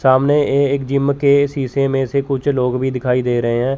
सामने ये एक जिम के शीशे में से कुछ लोग भी दिखाई दे रहे है।